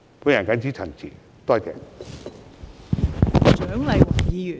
我謹此陳辭。